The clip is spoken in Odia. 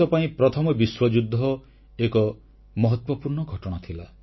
ଭାରତ ପାଇଁ ପ୍ରଥମ ବିଶ୍ୱଯୁଦ୍ଧ ଏକ ମହତ୍ୱପୂର୍ଣ୍ଣ ଘଟଣା